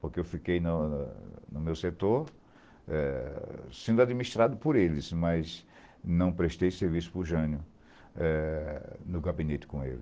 Porque eu fiquei no no no meu setor eh sendo administrado por eles, mas não prestei serviço para o Jânio eh no gabinete com ele.